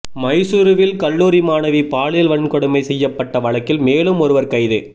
மைசூருவில் கல்லூரி மாணவி பாலியல் வன்கொடுமை செய்யப்பட்ட வழக்கில் மேலும் ஒருவர் கைது